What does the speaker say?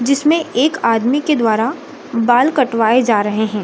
जिसमें एक आदमी के द्वारा बाल कटवाए जा रहे हैं।